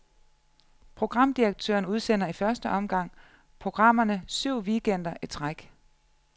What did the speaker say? Programdirektøren udsender i første omgang programmerne syv weekender i træk.